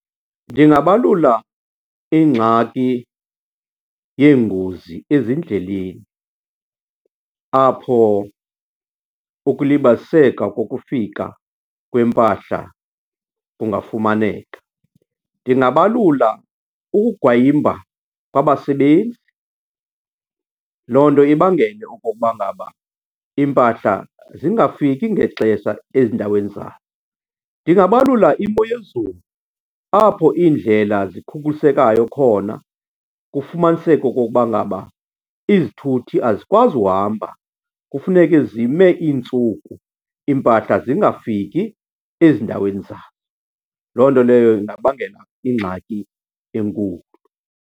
Ndingabalula ingxaki yeengozi ezindleleni apho ukulibaziseka kokufika kwempahla kungafumaneka. Ndingabalula ukugwayimba kwabasebenzi, loo nto ibangele okokuba ngaba iimpahla zingafiki ngexesha ezindaweni zayo. Ndingabalula imo yezulu apho iindlela zikhukhulisekayo khona, kufumaniseke okokuba ngaba izithuthi azikwazi uhamba, kufuneke zime iintsuku iimpahla zingafiki ezindaweni zazo. Loo nto leyo ingabangela ingxaki enkulu.